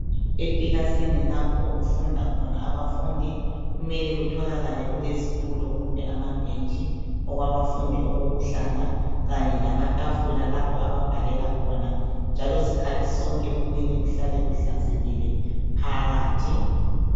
Ekilasini lapho okufunda khona abafundi kumele kutholakale kulezitulo kumbe amabhentshi okwabafundi okokuhlala Kanye lamatafula lapho ababhalela khona njalo sikhathi sonke kumele kuhlale kuhlanzekile phakathi.